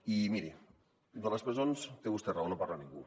i miri de les presons té vostè raó no en parla ningú